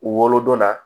Wolodon na